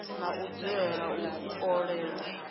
na u dzulela u kolelwa